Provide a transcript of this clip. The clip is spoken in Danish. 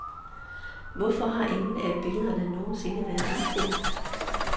Hvorfor har ingen af billederne nogen sinde været udstillet?